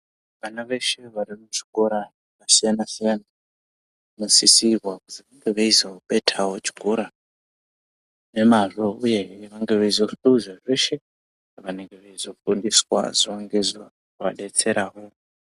Vana veshe varikuchikora vakasiyana-siyana vanosisirwa kuzobethawo chikora nemazvo uye vange veizohluza zveshe zvavanenge veizofundiswa zuwa ngezuwa zvizovadetserawo.